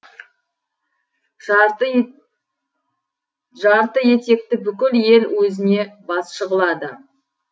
жартыетекті бүкіл ел өзіне басшы қылады